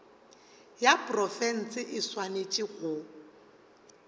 ya profense e swanetše go